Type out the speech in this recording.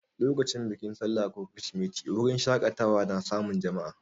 Lokacin bikin sallah ko kirsimeti, wurin shaƙatawa na samun jama'a.